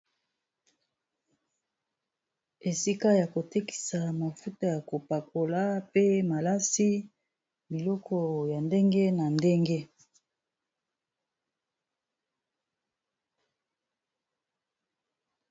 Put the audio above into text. Esika ya kotekisa mafuta ya kopakola pe malasi biloko ya ndenge na ndenge.